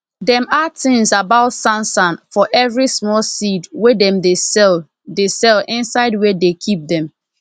dem add tins about sansan for everi small seed wey dem dey sell dey sell inside wia dey keep dem